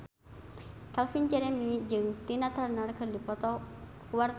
Calvin Jeremy jeung Tina Turner keur dipoto ku wartawan